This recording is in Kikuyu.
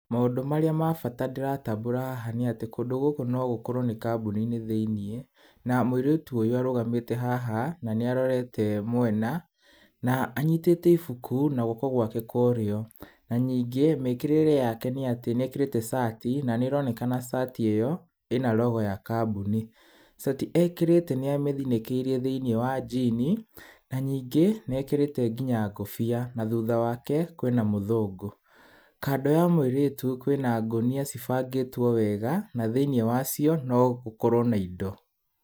Maũndũ marĩa ma bata ndĩratambũra haha nĩ atĩ, kũndũ gũkũ no gũkuorwo nĩ kambuni-inĩ thĩiniĩ na mũirĩtu ũyũ arũgamĩte haha na nĩarorete mwena, na anyitĩte ibuku na guoko gwake kwa ũrĩo. Na ningĩ mĩkĩrĩĩre yake nĩ atĩ nĩ ekĩrĩte cati na nĩroneka cati ĩyo ĩna logo ya kambuni. Cati ekĩrĩte nĩa mĩthinĩkĩirie thĩiniĩ wa jini na ningĩ ekĩrĩte nginya ngũbia na thutha wake kwĩna mũthũngũ. Kando ya mũirĩtu kwĩna ngũnia cibangĩtwo wega na thĩiniĩ wacio no gũkorwo na indo.